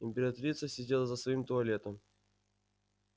императрица сидела за своим туалетом